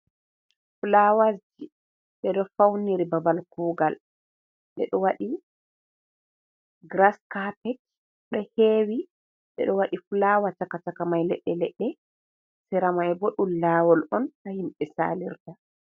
Fulawaji ɓeɗo Fauniri Babal Kuugal, ɓeɗo Waɗi Giras Kapet ɗo Hewi, ɓeɗo Wadi Fulawa Chaka Chakamai Ledɗe Ledɗe, Sira mai bo ɗum Lawol'on ha Himɓe Salirta.